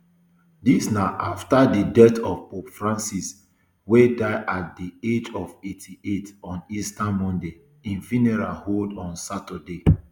dis na afta di death of pope francis wey die at di age of eighty-eight on easter monday im funeral hold on saturday